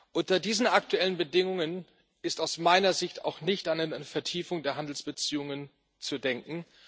Unter diesen aktuellen Bedingungen ist aus meiner Sicht auch nicht an eine Vertiefung der Handelsbeziehungen zu denken.